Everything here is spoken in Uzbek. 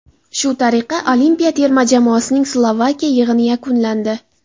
Shu tariqa olimpiya terma jamoasining Slovakiya yig‘ini yakunlandi.